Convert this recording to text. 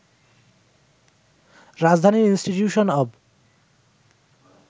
রাজধানীর institution of